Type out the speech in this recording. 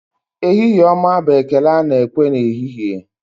Ehihie ọma bụ ekele ana ekwu n'ehihie.